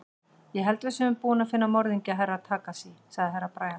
Ég held að við séum búin að finna morðingju Herra Takashi, sagði Herra Brian.